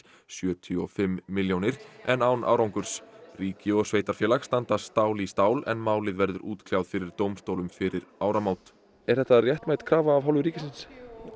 sjötíu og fimm milljónir en án árangurs ríki og sveitarfélag standa stál í stál en málið verður útkljáð fyrir dómstólum fyrir áramót er þetta réttmæt krafa af hálfu ríkisins